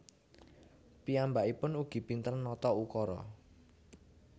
Piyambaikpun ugi pinter nata ukara